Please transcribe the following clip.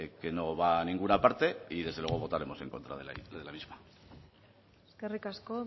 que no va a ninguna parte y desde luego votaremos en contra de la misma eskerrik asko